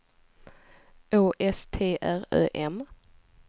Å S T R Ö M